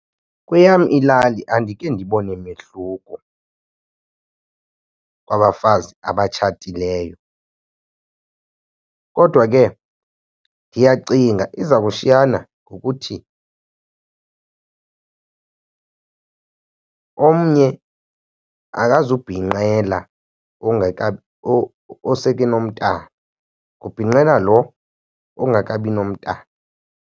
Kweyam ilali andike ndibone mehluko kwabafazi abatshatileyo. Kodwa ke ndiyacinga iza kushiyana ngokuthi omnye akazubhinqela oseke nomntana, kubhinqela lo ongakabi nomntana.